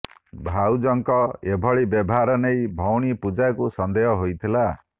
ଭାଉଜଙ୍କ ଏଭଳି ବ୍ୟବହାର ନେଇ ଭଉଣୀ ପୂଜାକୁ ସନ୍ଦେହ ହୋଇଥିଲା